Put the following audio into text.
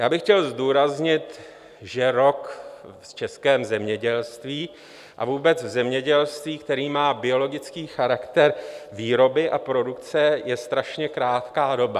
Já bych chtěl zdůraznit, že rok v českém zemědělství a vůbec v zemědělství, které má biologický charakter výroby a produkce, je strašně krátká doba.